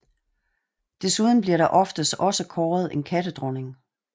Desuden bliver der oftest også kåret en kattedronning